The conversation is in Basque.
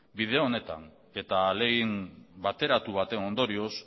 bide onetan eta ahalegin bateratu baten ondorioz